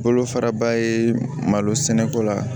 Bolo fara ba ye malo sɛnɛ ko la